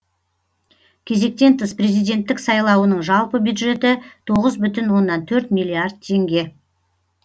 кезектен тыс президенттік сайлауының жалпы бюджеті тоғыз бүтін оннан төрт миллиард теңге